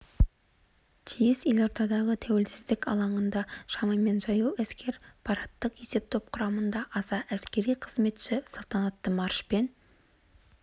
тиіс елордадағы тәуелсіздік алаңында шамамен жаяу әскер парадтық есептоп құрамында аса әскери қызметші салтанатты маршпен